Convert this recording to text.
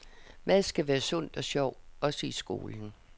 Mad skal være sundt og sjovt, også i skolen.